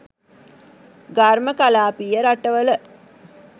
ඝර්ම කලාපීය රටවල